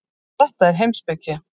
Þetta er heimspeki.